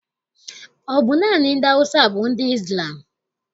Ọ bụ naanị ndị Awụsa bụ ndị Izlam?